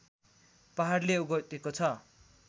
पहाडले ओगटेको छ